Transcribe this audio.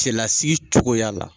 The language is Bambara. Cɛlasigi cogoya la.